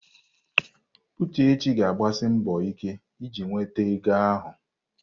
Uchechi ga-agbasi mbọ ike iji nweta ego ahụ.